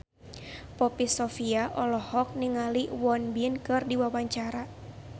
Poppy Sovia olohok ningali Won Bin keur diwawancara